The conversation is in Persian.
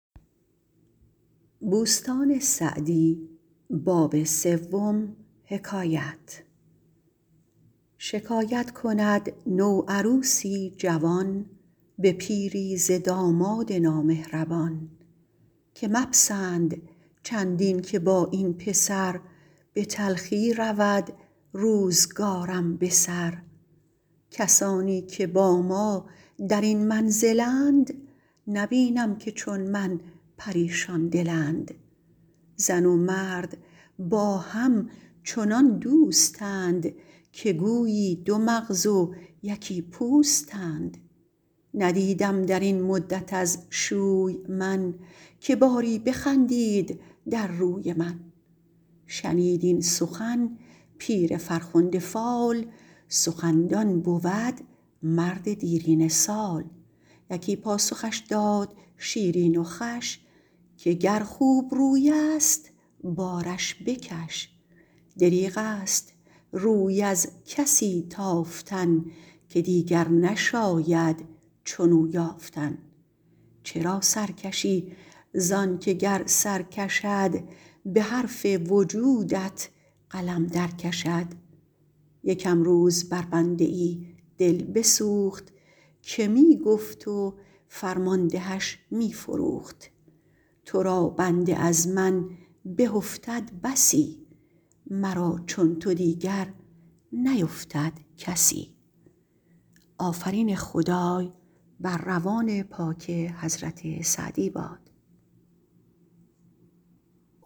شکایت کند نوعروسی جوان به پیری ز داماد نامهربان که مپسند چندین که با این پسر به تلخی رود روزگارم به سر کسانی که با ما در این منزلند نبینم که چون من پریشان دلند زن و مرد با هم چنان دوستند که گویی دو مغز و یکی پوستند ندیدم در این مدت از شوی من که باری بخندید در روی من شنید این سخن پیر فرخنده فال سخندان بود مرد دیرینه سال یکی پاسخش داد شیرین و خوش که گر خوبروی است بارش بکش دریغ است روی از کسی تافتن که دیگر نشاید چنو یافتن چرا سر کشی زان که گر سر کشد به حرف وجودت قلم در کشد یکم روز بر بنده ای دل بسوخت که می گفت و فرماندهش می فروخت تو را بنده از من به افتد بسی مرا چون تو دیگر نیفتد کسی